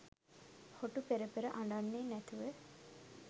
හොටු පෙරපෙර අඬන්නෙ නැතුව